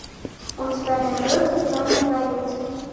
у тебя найдется темный дворецкий